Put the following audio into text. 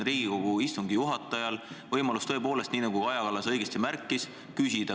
Riigikogu istungi juhatajal on võimalus – tõepoolest, nii nagu Kaja Kallas õigesti märkis – küsida.